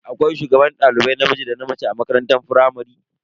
Akwai shugaban dalibai namiji da na mace a makarantar firamare.